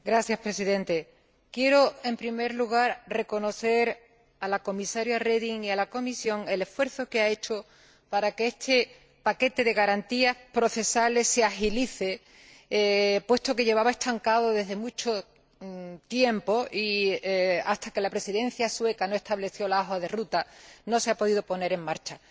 Señor Presidente, quiero en primer lugar reconocer a la Comisaria Reding y a la Comisión el esfuerzo que han hecho para que este paquete de garantías procesales se agilice, puesto que llevaba estancado desde hace mucho tiempo y, hasta que la Presidencia sueca no estableció la hoja de ruta, no se ha podido poner en marcha.